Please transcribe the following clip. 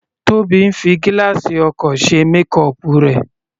Tobi ń fi gílààsì ọkọ̀ ṣe makeup rẹ̀.